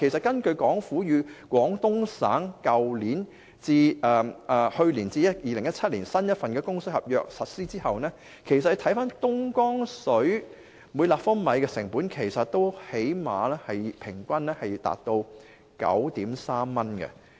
根據香港政府與廣東省簽訂去年至2017年的新供水合約實施後，每立方米東江水的平均成本其實最少也達 9.3 元。